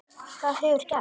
Hvað hefur gerst?